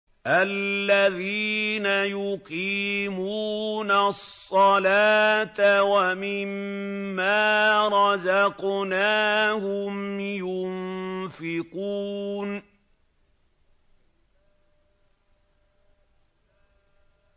الَّذِينَ يُقِيمُونَ الصَّلَاةَ وَمِمَّا رَزَقْنَاهُمْ يُنفِقُونَ